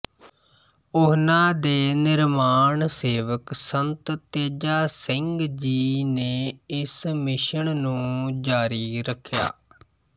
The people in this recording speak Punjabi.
ਉਹਨਾਂ ਦੇ ਨਿਰਮਾਣ ਸੇਵਕ ਸੰਤ ਤੇਜਾ ਸਿੰਘ ਜੀ ਨੇ ਇਸ ਮਿਸ਼ਨ ਨੂੰ ਜਾਰੀ ਰਖਿਆ